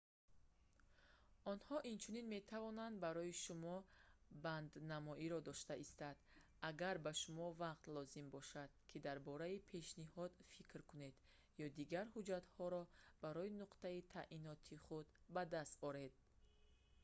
онҳо инчунин метавонанд барои шумо банднамоиро дошта истанд агар ба шумо вақт лозим бошад ки дар бораи пешниҳод фикр кунед ё дигар ҳуҷҷатҳоро масалан раводид барои нуқтаи таъиноти худ ба даст оред